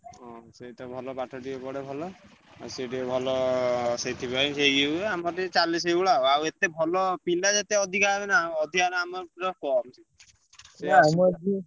ହଁ ସେଇତ ଭଲ ପାଠ ଟିକେ ପଢେ ଭଲ, ଆଉ ସିଏ ଟିକେ ଭଲ ସେଥିପାଇଁ ସେ ଇଏ ହୁଏ ଆମର ଟିକେ ଚାଲେ ସେଇ ଭଳିଆ ଆଉ ଆଉ ଏତେ ଭଲ ପିଲା ଯେତେ ଅଧିକା ହେବେ ନା ଅଧିକା ହେଲେ ଆମର ପୁରା କମ୍।